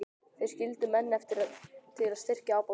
Þeir skildu menn eftir til að styrkja ábótann.